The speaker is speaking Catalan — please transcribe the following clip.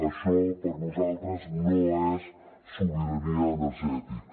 això per nosaltres no és sobirania energètica